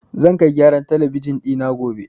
Zan kai gyaran talabijin ɗi na gobe.